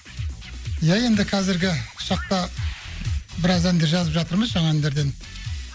иә енді қазіргі шақта біраз әндер жазып жатырмыз жаңа әндерден